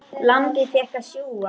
Lambið fékk að sjúga.